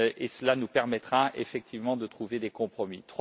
Cela nous permettra effectivement de trouver des compromis.